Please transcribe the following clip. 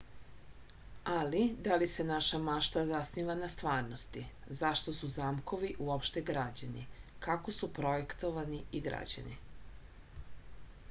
ali da li se naša mašta zasniva na stvarnosti zašto su zamkovi uopšte građeni kako su projektovani i građeni